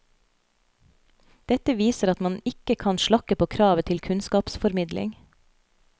Dette viser at man ikke kan slakke på kravet til kunnskapsformidling.